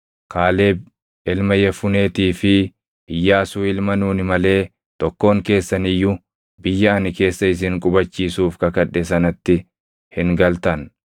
Kaaleb ilma Yefuneetii fi Iyyaasuu ilma Nuuni malee tokkoon keessan iyyuu biyya ani keessa isin qubachiisuuf kakadhe sanatti hin galtan.